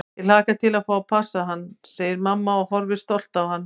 Ég hlakka til að fá að passa hann, segir mamma og horfir stolt á hann.